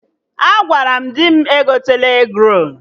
Agwara m dị m egotena egrolu